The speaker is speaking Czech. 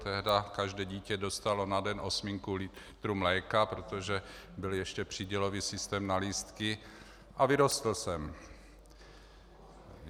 Tehdy každé dítě dostalo na den osminku litru mléka, protože byl ještě přídělový systém na lístky, a vyrostl jsem.